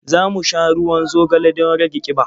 Za mu sha ruwan zogale don rage ƙiba.